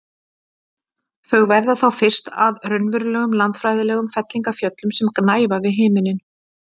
Þau verða þá fyrst að raunverulegum landfræðilegum fellingafjöllum sem gnæfa við himin.